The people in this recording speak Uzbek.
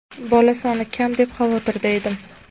bola soni kam deb xavotirda edim.